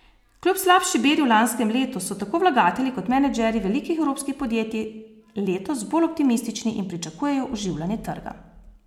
Kljub slabši beri v lanskem letu so tako vlagatelji kot menedžerji velikih evropskih podjetij letos bolj optimistični in pričakujejo oživljanje trga.